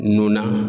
Nunna